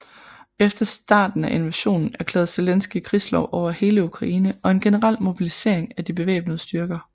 Efter starten af invasionen erklærede Zelenskyj krigslov over hele Ukraine og en generel mobilisering af de væbnede styrker